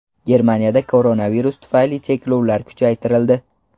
Germaniyada koronavirus tufayli cheklovlar kuchaytirildi.